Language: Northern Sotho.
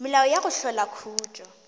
melao ya go hlola khutšo